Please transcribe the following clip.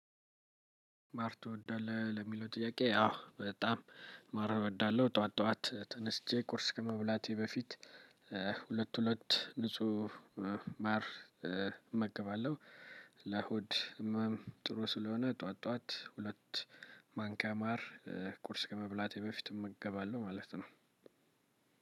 ማር ትወዳለህ ለሚለው ጥያቄ አዎ በጣም ማር እወዳለሁ። ጠዋት ጠዋት ተነስቼ ቁርስ ከመብላቴ በፊት ሁለት ሁለት ንጹህ ማር እመገባለሁ። ለእሁድ ጥሩ ስለሆነ ጠዋት ጠዋት ሁለት ማንኪያ ማር ቁርስ ከመብላቴ በፊት እመገባለሁ። ማለት ነው።